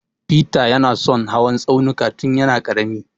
Feter ya na son hawan tsaunuka tun ya na ƙarami